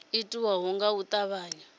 u itwa nga u tavhanya